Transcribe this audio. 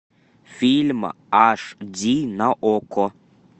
фильм аш ди на окко